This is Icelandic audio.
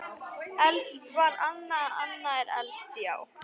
Elst var Anna, Anna er elst, já.